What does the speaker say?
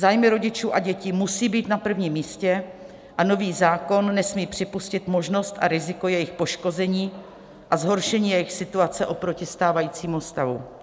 Zájmy rodičů a dětí musí být na první místě a nový zákon nesmí připustit možnost a riziko jejich poškození a zhoršení jejich situace oproti stávajícímu stavu.